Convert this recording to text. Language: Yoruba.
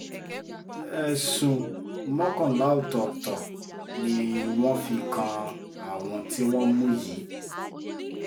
ẹ̀sùn mọ́kànlá ọ̀tọ̀ọ̀tọ̀ ni wọ́n fi kan àwọn tí wọ́n mú yìí